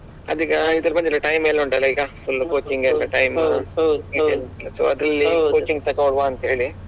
ಅದೀಗ ಇದೆಲ್ಲ ಬಂದಿದೆ time ಎಲ್ಲ ಉಂಟಲ್ಲ ಈಗ full coaching ಗೆಲ್ಲ time so ಅದ್ರಲ್ಲಿ coaching ತಕೊಳ್ಳುವ ಅಂತೇಳಿ.